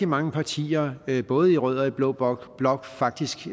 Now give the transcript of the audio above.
mange partier både i rød og i blå blok blok faktisk